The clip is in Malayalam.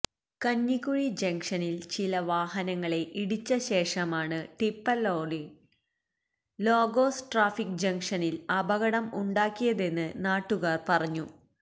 കഞ്ഞിക്കുഴി ജംങ്ഷനില് ചില വാഹനങ്ങളെ ഇടിച്ച ശേഷമാണ് ടിപ്പര്ലോറി ലോഗോസ് ട്രാഫിക് ജംങ്ഷനില് അപകടം ഉണ്ടാക്കിയതെന്ന് നാട്ടുകാര് പറഞ്ഞു